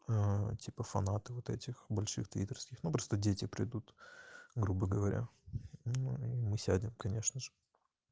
типа фанаты вот этих больших твиттерских но просто дети придут грубо говоря ну и мы сядем конечно же